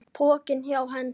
Pokinn hjá Hend